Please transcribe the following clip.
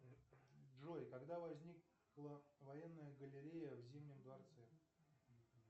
джой когда возникла военная галерея в зимнем дворце